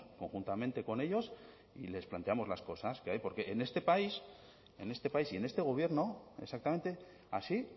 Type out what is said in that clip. conjuntamente con ellos y les planteamos las cosas que hay porque en este país en este país y en este gobierno exactamente así